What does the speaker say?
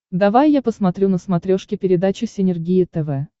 давай я посмотрю на смотрешке передачу синергия тв